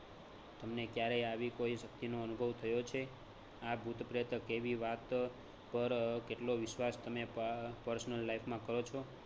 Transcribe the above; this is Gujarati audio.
તમને ક્યારેય આવી કોઈ શકિતનો અનુભવ થયો છે? આ ભૂત પ્રેત કેવી વાત પર કેટલો વિશ્વાસ તમે personal life માં કરો છો?